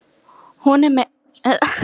Hún er meira en lítið skrítin.